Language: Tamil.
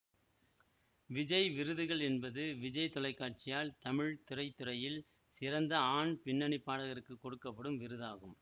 விஜய் விருதுகள் என்பது விஜய் தொலைக்காட்சியால் தமிழ் திரைத்துறையில் சிறந்த ஆண் பின்னணி பாடகருக்கு கொடுக்க படும் விருதாகும்